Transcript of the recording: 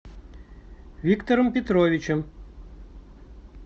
виктором петровичем